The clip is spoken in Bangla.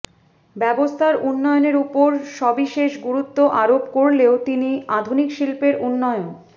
ব্যবস্থার উন্নয়নের উপর সবিশেষ গুরুত্ব আরোপ করলেও তিনি আধুনিক শিল্পের উন্নয়ন